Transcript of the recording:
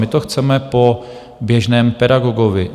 My to chceme po běžném pedagogovi.